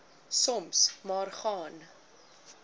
soms maar gaan